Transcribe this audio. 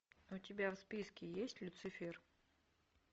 у тебя в списке есть люцифер